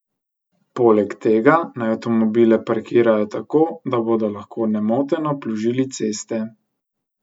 Poleg tega naj avtomobile parkirajo tako, da bodo lahko nemoteno plužili ceste.